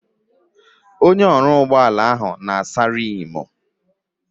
Mekaniki na-asa riimu.